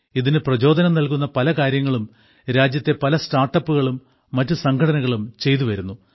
ഇതിന് പ്രചോദനം നൽകുന്ന പല കാര്യങ്ങളും രാജ്യത്തെ പല സ്റ്റാർട്ടപ്പുകളും മറ്റു സംഘടനകളും ചെയ്തുവരുന്നു